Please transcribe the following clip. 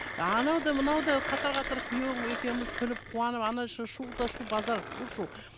анау да мынау да қатар қатар күйеуім екеуіміз күліп қуанып іші шу да шу базар у шу